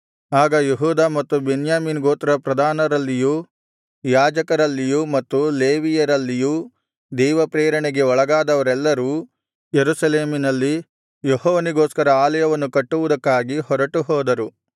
ಆಗ ಯೆಹೂದ ಮತ್ತು ಬೆನ್ಯಾಮೀನ್ ಗೋತ್ರ ಪ್ರಧಾನರಲ್ಲಿಯೂ ಯಾಜಕರಲ್ಲಿಯೂ ಮತ್ತು ಲೇವಿಯರಲ್ಲಿಯೂ ದೇವಪ್ರೇರಣೆಗೆ ಒಳಗಾದವರೆಲ್ಲರೂ ಯೆರೂಸಲೇಮಿನಲ್ಲಿ ಯೆಹೋವನಿಗೋಸ್ಕರ ಆಲಯವನ್ನು ಕಟ್ಟುವುದಕ್ಕಾಗಿ ಹೊರಟುಹೋದರು